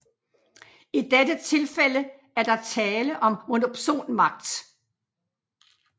I dette tifælde er der tale om monopsonmagt